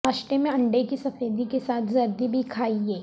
ناشتے میں انڈے کی سفیدی کیساتھ زردی بھی کھائیں